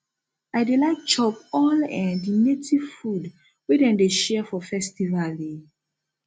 i dey like chop all um di native food wey dem dey share for festival um